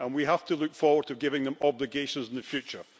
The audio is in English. We have to look forward to giving them obligations in the future.